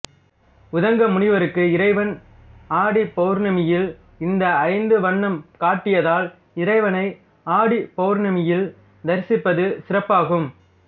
உதங்க முனிவருக்கு இறைவன் ஆடிப்பவுர்ணமியில் இந்த ஐந்த வண்ணம் காட்டியதால் இறைவனை ஆடிப்பவுர்ணமியில் தரிசிப்பது சிறப்பாகும்